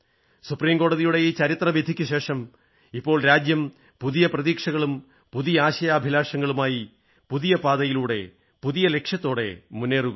supreme കോടതിയുടെ ഈ ചരിത്ര വിധിക്കുശേഷം ഇപ്പോൾ രാജ്യം പുതിയ പ്രതീക്ഷകളും പുതിയ ആശയാഭിലാഷങ്ങളുമായി പുതിയ പാതയിലൂടെ പുതിയ ലക്ഷ്യത്തോടെ മുന്നേറുകയാണ്